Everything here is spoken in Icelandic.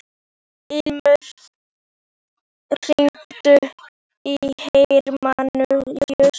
Ilmur, hringdu í Hermanníus.